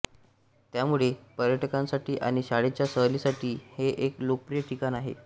यामुळे पर्यटकांसाठी आणि शाळेच्या सहलीसाठी हे एक लोकप्रिय ठिकाण आहे